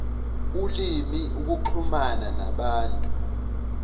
ulimi ukuxhumana nabantu